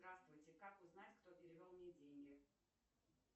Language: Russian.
здравствуйте как узнать кто перевел мне деньги